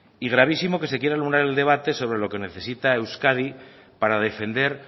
y gravísimo que se quiera anular el debate sobre lo que necesita euskadi para defender